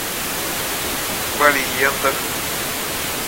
балеендах